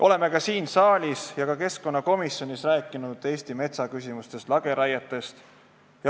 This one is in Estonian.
Oleme siin saalis ja ka keskkonnakomisjonis rääkinud Eesti metsa küsimustest, lageraietest.